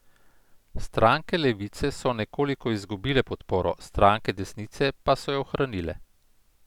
Stranke levice so nekoliko izgubile podporo, stranke desnice pa so jo ohranile.